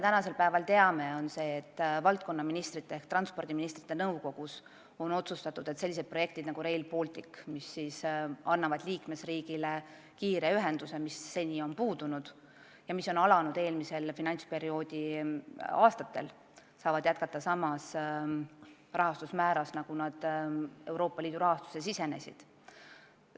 Tänasel päeval me teame seda, et valdkonnaministrite ehk transpordiministrite nõukogus on otsustatud, et sellised projektid nagu Rail Baltic, mis tagavad liikmesriigile kiire ühenduse, mis seni on puudunud ja mille arendamine eelmise finantsperioodi aastatel on alanud, saavad jätkata sama rahastusmääraga, nagu lubatud.